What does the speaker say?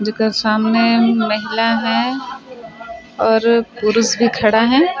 जेकर सामने महिला है और पुरुष भी खड़ा है ।--